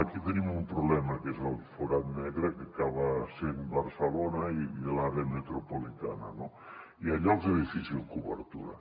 aquí tenim un problema que és el forat negre que acaba sent barcelona i l’àrea metropolitana hi ha llocs de difícil cobertura